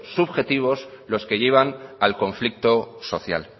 subjetivos los que llevan al conflicto social